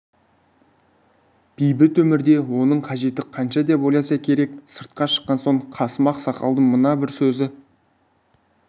бейбіт өмірде оның қажеті қанша деп ойласа керек сыртқа шыққан соң қасым ақсақалдың мына бір сөзі